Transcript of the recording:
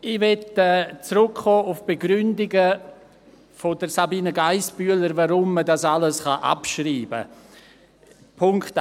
Ich will auf die Begründungen von Sabina Geissbühler zurückkommen, warum man dies alles abschreiben kann.